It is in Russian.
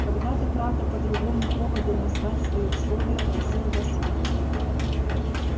когда-то правда по другому поводу назвать свои условия просил вас я